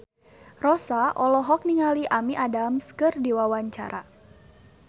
Rossa olohok ningali Amy Adams keur diwawancara